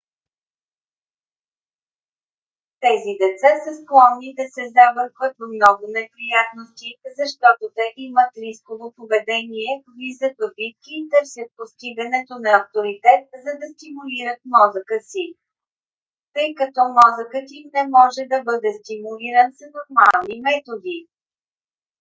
тези деца са склонни да се забъркват в много неприятности защото те имат рисково поведение влизат в битки и търсят постигането на авторитет за да стимулират мозъка си тъй като мозъкът им не може да бъде стимулиран с нормални методи